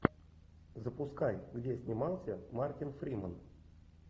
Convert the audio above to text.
запускай где снимался мартин фриман